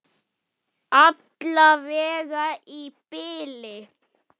Alla vega í bili.